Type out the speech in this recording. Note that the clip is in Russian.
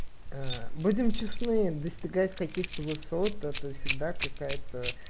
аа будем честны достигать каких-то высот это всегда какая-то